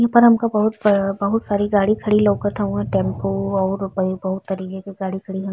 इ पर हमका बहुत ब बहुत सारी गाड़ी खड़ी लउकत हउवन टेम्पू और बही बहुत तरीके की गाड़ी खड़ी हउ --